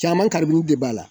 Caman de b'a la.